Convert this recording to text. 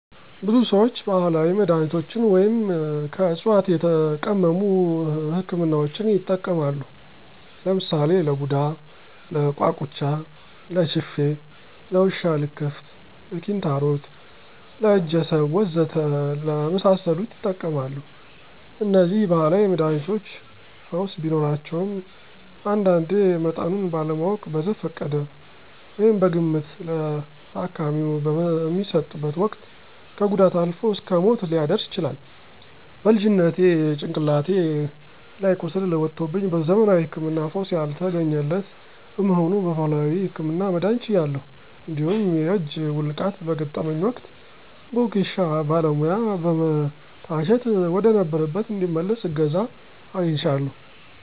ብዙ ሰዎች ባህላዊ መድሃኒቶችን ወይም ከዕፅዋት የተቀመሙ ህክምናዎችን ይጠቀማሉ። ለምሳሌ ለቡዳ፣ ለቋቁቻ፣ ለችፌ፣ ለውሻ ልክፍት፣ ለኪንታሮት፣ ለእጀሰብ ወዘተ ለመሳሰሉት ይጠቀማሉ። እነዚህ ባህላዊ መድሃኒቶች ፈውስ ቢኖራቸውም አንዳንዴ መጠኑን ባለማወቅ በዘፈቀደ (በግምት) ለታካሚው በሚሰጡበት ወቅት ከጉዳት አልፎ እስከ ሞት ሊያደርስ ይችላል። በልጅነቴ ጭንቅላቴ ላይ ቁስል ወጦብኝ በዘመናዊ ህክምና ፈውስ ያልተገኘለት በመሆኑ በባህላዊው ህክምና መዳን ችያለሁ። እንዲሁም የእጅ ውልቃት በገጠመኝ ወቅት በወጌሻ ባለሙያ በመታሸት ወደነበረበት እንዲመለስ እገዛ አግኝቻለሁ።